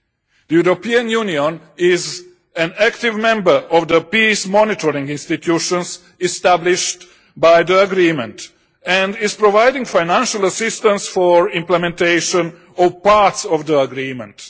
The European Union is an active member of the peace monitoring institutions established by the agreement and is providing financial assistance for implementation of parts of the agreement.